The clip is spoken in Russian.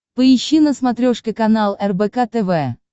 поищи на смотрешке канал рбк тв